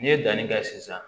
N'i ye danni kɛ sisan